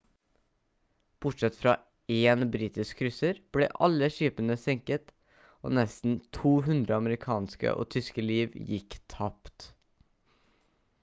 bortsett fra én britisk krysser ble alle skipene senket og nesten 200 amerikanske og tyske liv gikk tapt